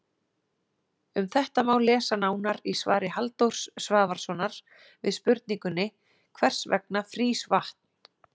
Um þetta má lesa nánar í svari Halldórs Svavarssonar við spurningunni Hvers vegna frýs vatn?